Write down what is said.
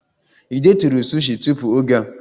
Ị detụrụ sushi tupu oge a?